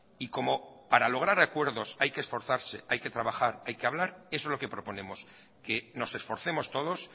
y como para lograr acuerdos hay que esforzarse hay que trabajar hay que hablar eso es lo que proponemos que nos esforcemos todos